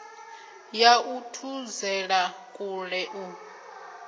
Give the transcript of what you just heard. ya u thudzela kule u